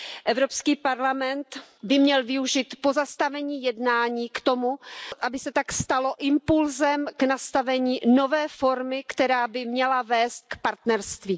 Evropský parlament by měl využít pozastavení jednání k tomu, aby se to stalo impulsem k nastavení nové formy, která by měla vést k partnerství.